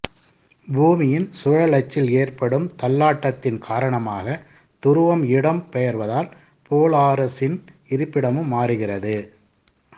பூமியின் சுழலச்சில் ஏற்படும் தள்ளாட்டத்தின் காரணமாக துருவம் இடம் பெயர்வதால் போலாரிசின் இருப்பிடமும் மாறுகிறது